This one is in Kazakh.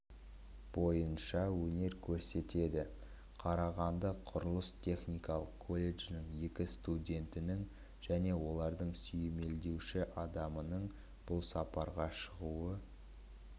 бойынша өнер көрсетеді қарағанды құрылыс-техникалық колледжінің екі студентінің және оларды сүйемелдеуші адамның бұл сапарға шығуы